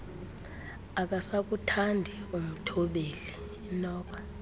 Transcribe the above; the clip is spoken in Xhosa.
akasakuthandi umthobleli inoba